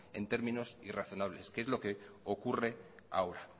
en términos irrazonables que es lo que ocurre ahora